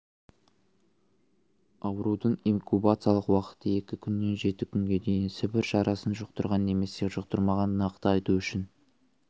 аурудың инкубациялық уақыты екі күннен жеті күнге дейін сібір жарасын жұқтырған немесе жұқтырмағанын нақты айту үшін